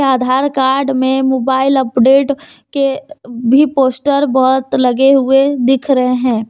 आधार card में mobile update के भी पोस्टर बहुत लगे हुए दिख रहे हैं।